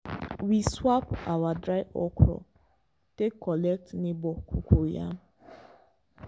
we swap our dry okra take collect neighbour cocoyam.